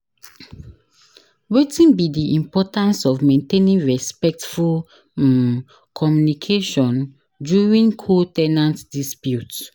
Wetin be di importance of maintaining respectful um communication during co- ten ant dispute.